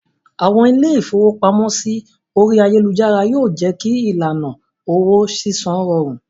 Àwọn ilé-ìfowópamọ́sí orí ayélujára yó jé kí ìlànà owó sísan rọrùn.